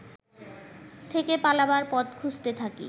থেকে পালাবার পথ খুঁজতে থাকি